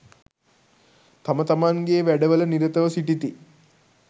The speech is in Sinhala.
තමතමන්ගේ වැඩවල නිරතව සිටිති.